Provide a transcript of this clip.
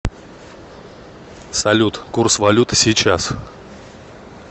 салют курс валюты сейчас